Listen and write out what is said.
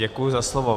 Děkuji za slovo.